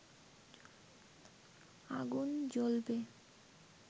আগুন জ্বলবে